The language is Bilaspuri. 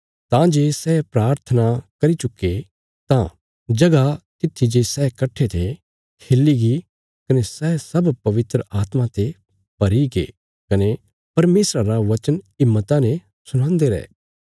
तां जे सै प्राथना करी चुक्के तां जगह तित्थी जे सै कट्ठे थे हिल्लीगी कने सै सब पवित्र आत्मा ते भरीगे कने परमेशरा रा वचन हिम्मता ने सुणांदे रै